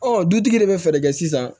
Ɔ dutigi de bɛ fɛɛrɛ kɛ sisan